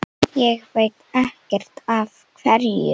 Ég veit ekkert af hverju.